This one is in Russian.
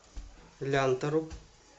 лянтору